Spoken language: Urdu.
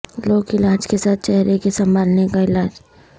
لوک علاج کے ساتھ چہرے کے سنبھالنے کا علاج